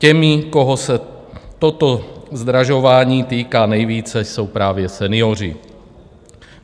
Těmi, koho se toto zdražování týká nejvíce, jsou právě senioři.